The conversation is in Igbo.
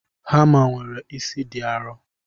Hama nwere isi di arọ.